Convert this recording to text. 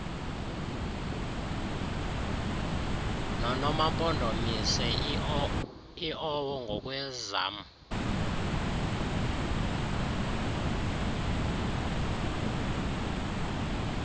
nonomampondomise iowo ngokwezam